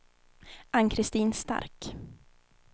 Ann-Kristin Stark